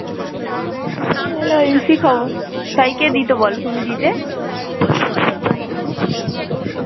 লজেন্সেই খাবো, তাই কে দিত বলো, তুমি দিতে